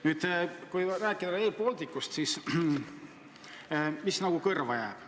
Nüüd, kui rääkida Rail Balticust, siis mis kõrva jääb?